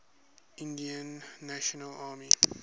indian national army